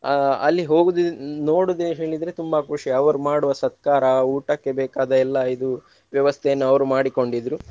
ಅಹ್ ಅಲ್ಲಿ ಹೋಗುವುದು ನೋಡುವುದೇ ಹೇಳಿದ್ರೆ ತುಂಬಾ ಖುಷಿ ಅವರು ಮಾಡುವ ಸತ್ಕಾರ ಊಟಕ್ಕೆ ಬೇಕಾದ ಎಲ್ಲಾ ಇದು ವ್ಯವಸ್ಥೆಯನ್ನು ಅವರು ಮಾಡಿಕೊಂಡಿದ್ರು.